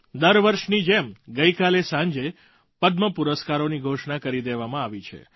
દર વર્ષની જેમ ગઇકાલે સાંજે પદ્મ પુરસ્કારોની ઘોષણા કરી દેવામાં આવી છે